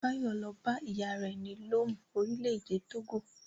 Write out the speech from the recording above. Báyọ̀ lọ bá ìyá rẹ̀ ní Lome, orílẹ̀-èdè Togo.